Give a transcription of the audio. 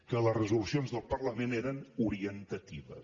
que les resolucions del parlament eren orientatives